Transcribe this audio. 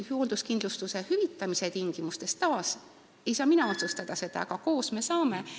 Hoolduskindlustuse hüvitamise tingimusi ei saa mina otsustada, aga koos me saame seda teha.